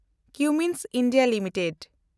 Cummins India limited